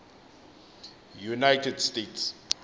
united states